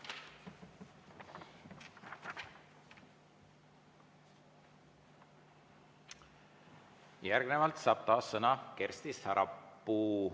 Järgnevalt saab taas sõna Kersti Sarapuu.